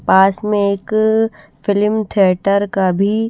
पास मे एक film theatre का भी--